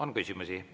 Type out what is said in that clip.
On küsimusi.